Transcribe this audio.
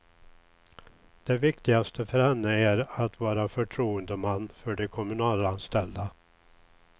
Det viktigaste för henne är att vara förtroendeman för de kommunalställda.